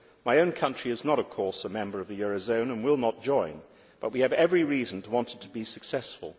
My own country is not, of course, a member of the eurozone and will not join, but we have every reason to want it to be successful.